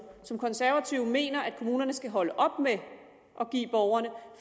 som konservative mener at kommunerne skal holde op med at give borgerne